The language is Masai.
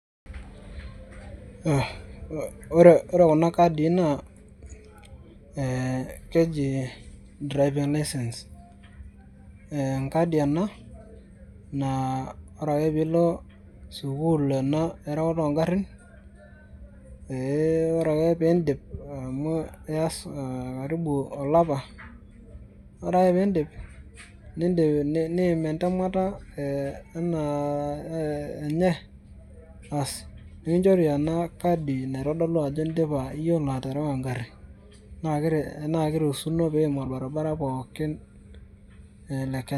Aah ore kuna kadii naa ee keji driven lisence ee enkadi ena naa ore ake piilo sukul ena oreuta oongarin, ee ore ake peindip amu ias aa karibu olapa .ore ake peindip niim entemata ee anaa enye, aas nikinchore enakadi naitodolu ajo indipa iyolo aterewa engari na kiruhuni piim orbaribara pookin le Kenya.